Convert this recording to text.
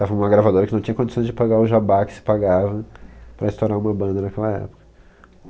Tava uma gravadora que não tinha condições de pagar o jabá que se pagava para estourar uma banda naquela época.